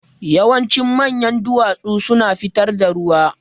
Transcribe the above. Yawancin manyan duwatsu suna fitar da ruwa.